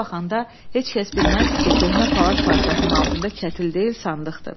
Belə baxanda heç kəs bilməzdi ki, köhnə palaz parçasının altında kətil deyil, sandıqdır.